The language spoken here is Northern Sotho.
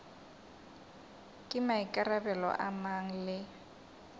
ke maikarabelo a mang le